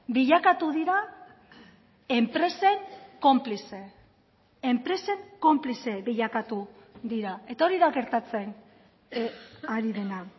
bilakatu dira enpresen konplize enpresen konplize bilakatu dira eta hori da gertatzen ari dena